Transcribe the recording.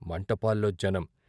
మంటపాల్లో జనం.